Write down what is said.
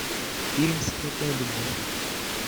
фильм скрытая любовь